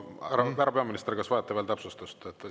Härra peaminister, kas vajate täpsustust?